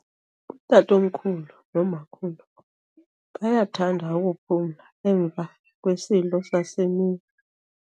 Utatomkhulu nomakhulu bayathanda ukuphumla emva kwesidlo sasemini.